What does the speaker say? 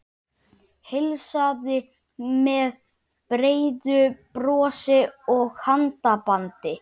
Heilsaði með breiðu brosi og handabandi.